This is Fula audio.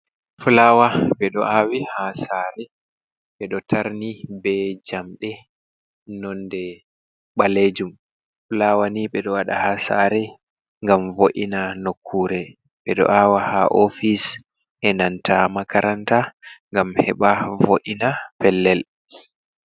Fulawa ɓe ɗo awi ha sare ɓeɗo tarni be jamɗe nonde ɓalejum, fulawa ni ɓedo waɗa ha sare ngam vo’ina nokkure ɓeɗo awa ha ofis e nanta makaranta gam heba vo’ina pellel.